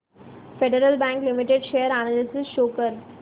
federal Bank Limited share analysis show कर